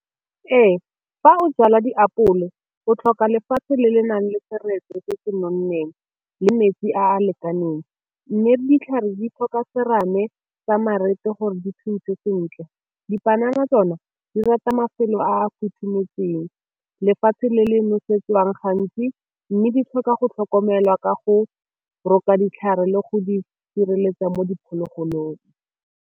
Ee, fa o jala diapole o tlhoka lefatshe le le nang le seretse se se di nonneng le metsi a a lekaneng, mme ditlhare di tlhoka serame tsa gore di sentle. Dipanana tsona di rata mafelo a futhumetseng lefatshe le le nosetswang gantsi, mme di tlhoka go tlhokomelwa ka go roka ditlhare le go di sireletsa mo diphologolong.